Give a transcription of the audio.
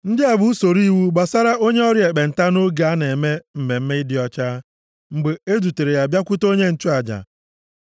“Ndị a bụ usoro iwu gbasara onye ọrịa ekpenta nʼoge a na-eme mmemme ịdị ọcha ya, mgbe e dutere ya bịakwute onye nchụaja.